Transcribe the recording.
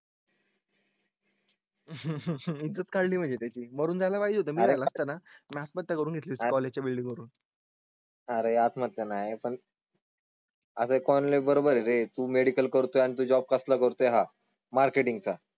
इज्जतच काढली म्हणजे त्याची मरून जायला पाहिजे होत मी जर जर असताना आत्महत्या करून घेतली असती कॉलेजच्या बिल्डिंग वरून करून. अरे आत्महत्या नाही पण. असं कोणी बरोबर आहे तुम्ही मेडिकल करतो आणि जॉब कसा करतोय हा मार्केटिंग